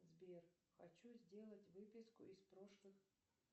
сбер хочу сделать выписку из прошлых